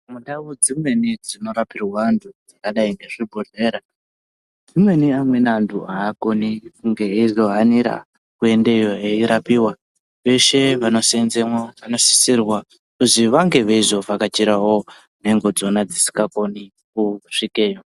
Mundau dzimweni dzinorapirwa antu dzakadai ngezvibhedhlera zvimweni amweni anthu aakoni kunge eizohanira kuendeyo eirapiwa, veshe vanoseenzemo vanosisirwa kuzi vange veizovhakachirawo nhengo dzona dzisikakoni kusvikeyo.